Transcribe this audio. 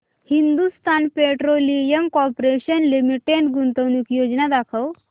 Hindustan petroleum corporation limited गुंतवणूक योजना दाखव